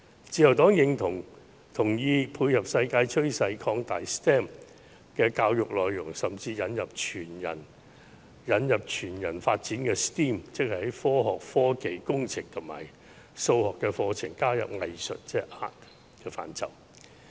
自由黨認同配合世界趨勢，擴大 STEM 的教育內容，甚至引入全人發展的 STEAM， 即是在科學、科技、工程及數學的課程加入藝術的範疇。